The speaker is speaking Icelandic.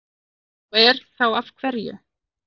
Ef svo er, þá af hverju?